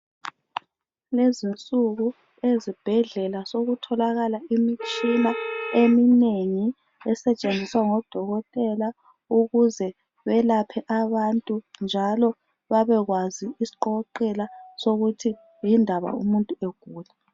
kulezi insuku ezibhedlela sokutholakala imitshina eminengi esetshenziswa ngodokotela ukuze belaphe abantu njalo babekwazi isiqokoqela sokuthi yindaba umuntu egula.